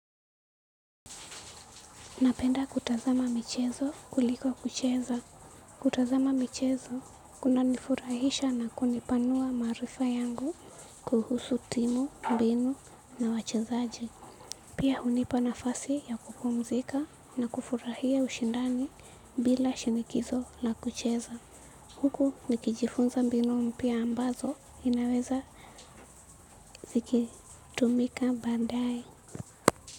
Napenda kutazama michezo kuliko kucheza. Kutazama michezo kuna nifurahisha na kunipanua maarifa yangu kuhusu timu, mbinu na wachezaji. Pia hunipa nafasi ya kupumzika na kufurahia ushindani bila shinikizo la kucheza. Huku nikijifunza mbinu mpya ambazo inaweza zikitumika baadae.